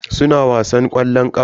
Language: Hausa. Suna wasan ƙwallon ƙafa.